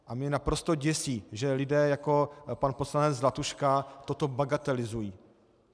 A mě naprosto děsí, že lidé jako pan poslanec Zlatuška toto bagatelizují.